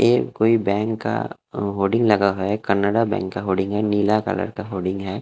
ये कोई बैंक का होडिंग लगा है। केनरा बैंक का होडिंग है। नीला कलर का होडिंग है।